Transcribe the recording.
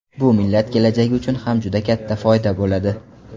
Bu millat kelajagi uchun ham juda katta foyda bo‘ladi”.